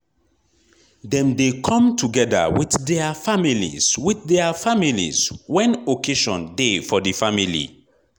dem de come together with their families with their families when occasion de for the family